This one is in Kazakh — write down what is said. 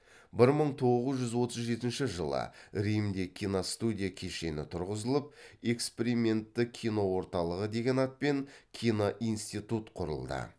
бір мың тоғыз жүз отыз жетінші жылы римде киностудия кешені тұрғызылып экспериментті киноорталығы деген атпен киноинститут құрылды